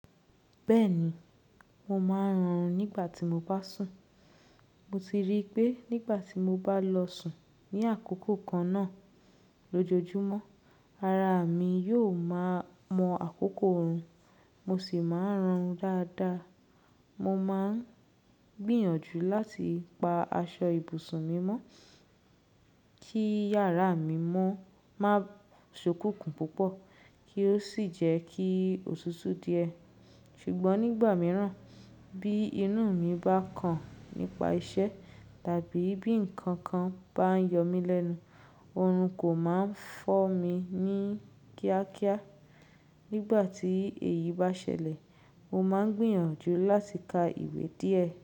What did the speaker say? Bẹ́ẹ̀ni, mo máa ń hún rùn nígbà tí mo bá sùn. Mo ti rí i pé nígbà tí mo bá lọ sùn ní àkókò kan náà lójoojúmọ́, ara mi yóò máa mọ akoko run, mo sì máa ń rọrùn dáadáa. Mo máa ń gbìyànjú láti pa aṣọ ibùsùn mi mọ́, kí yàrá mi mọ́ má sokùnkùn púpọ̀ kí ó sì jẹ́ kí òtútù díẹ̀. Sugbọ́n nígbà mìíràn, bí inú mi bá kàn nípa isé tàbí bí nkan kan bá ń yó mi lènù, òrun kó máa ń fo mí ní kíákíá. Nígbà tí èyí bá ṣẹlẹ̀, mo máa ń gbìyànjú láti ka ìwé díẹ̀